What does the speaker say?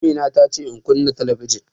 Amina ta ce in kunna talabijin